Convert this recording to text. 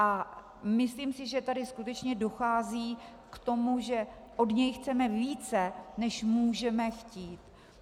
A myslím si, že tady skutečně dochází k tomu, že od něj chceme více, než můžeme chtít.